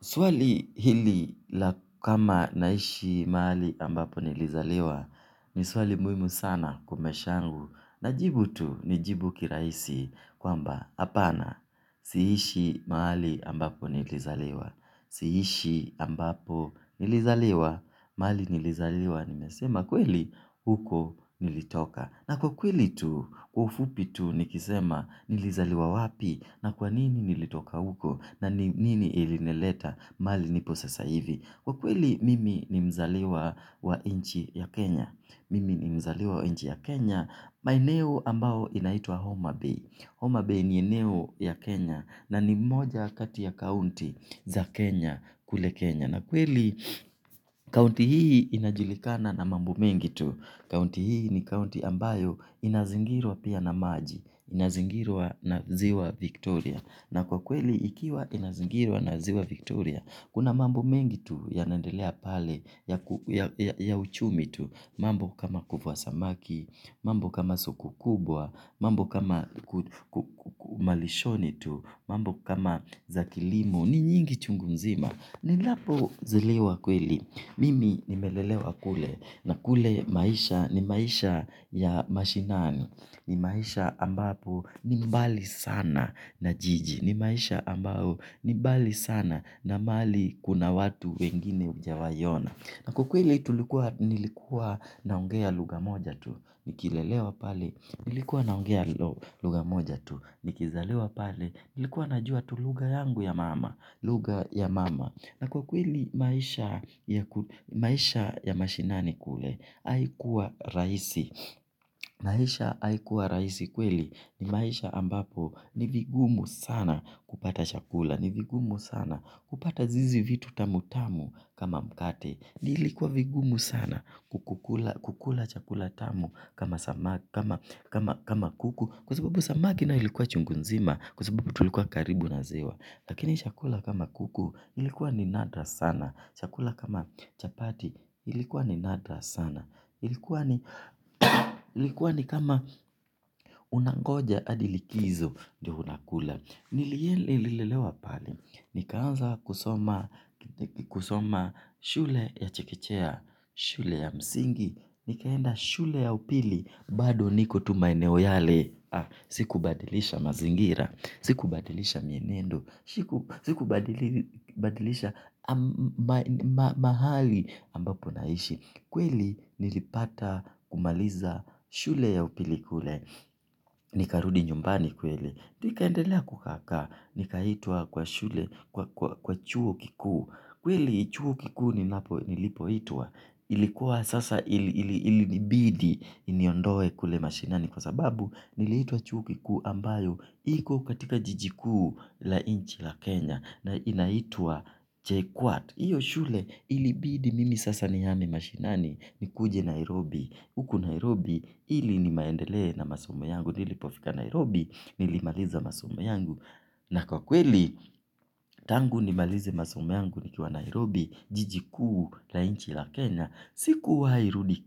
Swali hili la kama naishi mahali ambapo nilizaliwa ni swali muhimu sana kwa maisha yangu. Najibu tu nijibu kirahisi kwamba hapana. Siishi mahali ambapo nilizaliwa. Siishi ambapo nilizaliwa. Mahali nilizaliwa nimesema kweli? Huko nilitoka. Na kwa kweli tu, kwa ufupi tu nikisema nilizaliwa wapi na kwa nini nilitoka huko na ni nini ilinileta mahali nipo sasa hivi? Kwa kweli mimi ni mzaliwa wa nchi ya Kenya. Mimi ni mzaliwa wa nchi ya Kenya maeneo ambayo inaitwa Homa Bay. Homa Bay ni eneo ya Kenya na ni moja kati ya kaunti za kenya kule Kenya. Na kweli kaunti hii inajulikana na mambo mengi tu. Kaunti hii ni kaunti ambayo inazingirwa pia na maji. Inazingirwa na ziwa Victoria. Na kwa kweli ikiwa inazingirwa na ziwa Victoria, kuna mambo mengi tu yanaendelea pale, ya uchumi tu. Mambo kama kuvua samaki, mambo kama soko kubwa, mambo kama malishoni tu, mambo kama za kilimo. Ni nyingi chungu nzima nilipozaliwa kweli mimi nimelelewa kule na kule maisha ni maisha. Ya mashinani. Ni maisha ambapo ni mbali sana na jiji. Ni maisha ambayo ni mbali sana na mahali kuna watu wengine hujawahi ona. Na kwa ukweli tuikuwa, nilikuwa naongea lugha moja tu. Nikilelewa pale nilikuwa naongea. Luga moja tu. Nikizaliwa pale nilikuwa najua tu lugha yangu ya mama. Lugha ya mama. Na kwa kweli maisha ya ku, maisha ya mashinani kule, haikuwa rahisi. Maisha haikuwa rahisi kweli ni maisha ambapo ni vigumu sana kupata chakula. Ni vigumu sana kupata hizi vitu tamutamu kama mkate. Iikuwa vigumu sana kukula chakula tamu kama samaki kama kuku. Kwa sababu samaki nayo ilikuwa chungu nzima kwa sababu tulikuwa karibu na ziwa. Lakini chakula kama kuku ilikuwa ni nadra sana. Shakula kama chapati ilikuwa ni nadra sana. Ilikuwa ni kama unangoja hadi likizo ndiyo unakula. Nililelewa pale nikaanza kusoma shule ya chekechea. Shule ya msingi nikaenda shule ya upili bado niko tu maeneo yale, ah, sikubadilisha mazingira, sikubadilisha mienendo, siku sikubadili. Badilisha mahali ambapo naishi. Kweli nilipata kumaliza shule ya upili kule nikarudi nyumbani kweli. Nikaendelea kukaakaa. Nikaitwa kwa shule kwa chuo kikuu. Kweli chuo kiku nilipohitwa, ilikuwa sasa ilinibidi iniondoe kule mashinani kwa sababu niliitwa chuo kikuu ambayo iko katika jiji kuu la nchi ya Kenya na inaitwa. JKUAT. Hiyo shule ilibidi mimi sasa nimehama mashinani nikuje Nairobi. Huku Nairobi ili niendelee na masomo yangu. Nilipofika Nairobi nilimaliza masomo yangu. Na kwa kweli tangu nimalize masomo yangu nikiwa Nairobi jiji kuu la nchi la Kenya sikuwahirudi